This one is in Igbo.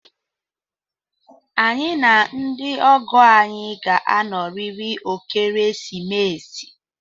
Anyị na ndị ọgọ anyị ga-anọrịrị ekeresimesi